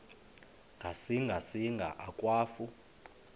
ngasinga singa akwafu